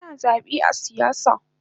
Ana zabe a siyasa